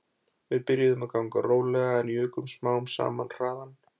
Við byrjuðum að ganga rólega en jukum smám saman hraðann